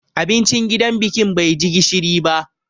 Abincin gidan bikin bai ji gishiri ba.